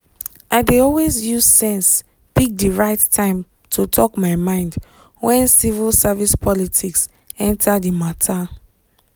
i dey use sense pick the right time to talk my mind when civil service politics enter the matter.